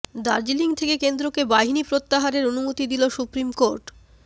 দার্জিলিং থেকে কেন্দ্রকে বাহিনী প্রত্যাহারের অনুমতি দিল সুপ্রিম কোর্ট